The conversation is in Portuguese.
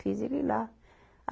Fiz ele ir lá.